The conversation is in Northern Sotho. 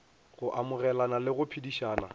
go amogelana le go phedišana